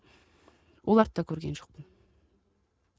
оларды да көрген жоқпын